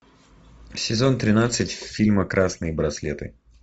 сезон тринадцать фильма красные браслеты